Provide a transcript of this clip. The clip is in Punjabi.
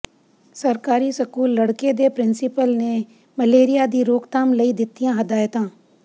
ਸਰਕਾਰੀ ਸਕੂਲ ਲੜਕੇ ਦੇ ਪਿ੍ੰਸੀਪਲ ਨੇ ਮਲੇਰੀਆ ਦੀ ਰੋਕਥਾਮ ਲਈ ਦਿੱਤੀਆਂ ਹਦਾਇਤਾਂ